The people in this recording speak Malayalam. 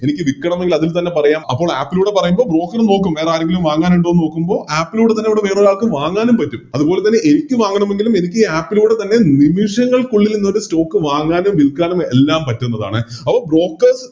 എനിക്ക് വിൽക്കണമെങ്കിൽ അതിൽ തന്നെ പറയാം അപ്പൊ App ലൂടെ പറയുമ്പോൾ Broker നോക്കും വേറെ ആരെങ്കിലും വാങ്ങാനുണ്ടോന്ന് നോക്കുമ്പോ App ലൂടെ തന്നെ വേറൊരാൾക്ക് വാങ്ങാനും പറ്റും അതുപോലെതന്നെ എനിക്ക് വാങ്ങണമെങ്കിലും എനിക്കി App ലൂടെ തന്നെ നിമിഷങ്ങൾക്കുള്ളിൽ എന്തുപറ്റും Stock വാങ്ങാനും വിൽക്കാനും എല്ലാം പറ്റുന്നതാണ് അപ്പൊ Brokers